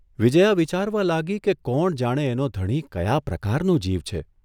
વિજયા વિચારવા લાગી કે કોણ જાણે એનો ધણી કયા પ્રકારનો જીવ છે?